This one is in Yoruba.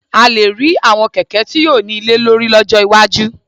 A lè rí àwọn kẹ̀kẹ́ tí yóò ní ilé lórí lọ́jọ́ iwájú